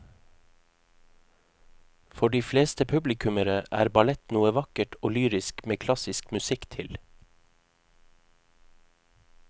For de fleste publikummere er ballett noe vakkert og lyrisk med klassisk musikk til.